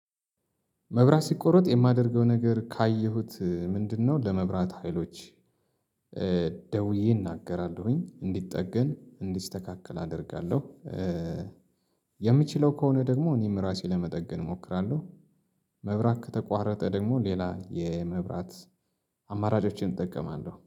መብራት ሲቆረጥ የማደርገው ነገር ካየሁት ምንድነው? ለመብራት ሀይሎች ደውዬ እናገራለሁኝ እንዲጠገን እንዲስተካከል አደርጋለሁ። የምችለው ከሆነ ደግሞ እኔም ራሴ ለመጠገን እሞክራለሁ። መብራት ከተቋረጠ ደግሞ ሌላ የመብራት አማራጮችን እጠቀማለሁ